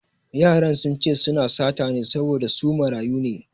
Yaran sun ce su na sata ne saboda su marayu ne